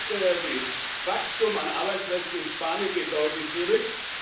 Das heißt, das Wachstum an Arbeitsplätzen in Spanien geht deutlich zurück.